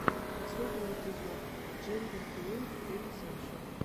последний эпизод джендерфлуид хелисекшуал